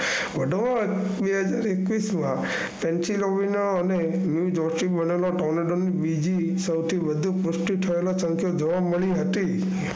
બે હજાર એકવીશ માં